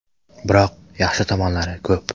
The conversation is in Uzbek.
Biroq, yaxshi tomonlari ko‘p.